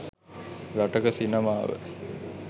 රටක සිනමාව